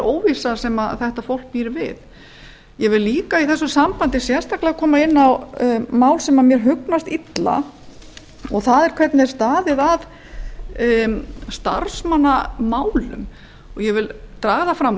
óvissu ég vil líka í þessu sambandi koma inn á mál sem mér hugnast illa en það er hvernig staðið er að starfsmannamálum gert hefur verið